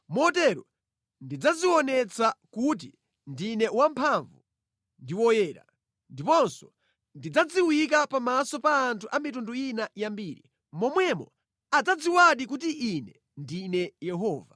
Motero ndidzadzionetsa kuti ndine wamphamvu ndi woyera. Ndiponso ndidzadziwika pamaso pa anthu a mitundu ina yambiri. Momwemo adzadziwadi kuti Ine ndine Yehova.’ ”